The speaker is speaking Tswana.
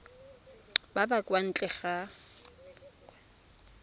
ba ba kwa ntle ga